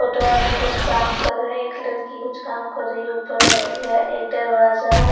दो आदमी कुछ काम कर रहे हैं एक लड़की कुछ काम कर रही है ऊपर लाइटिंग है एक दरवाजा है।